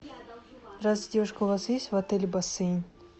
здравствуйте девушка у вас есть в отеле бассейн